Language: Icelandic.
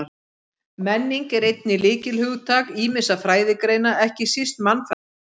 Menning er einnig lykilhugtak ýmissa fræðigreina, ekki síst mannfræðinnar.